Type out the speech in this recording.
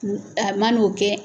U a man'o kɛ